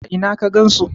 a Ina ka gansu?